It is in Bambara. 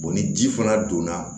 ni ji fana donna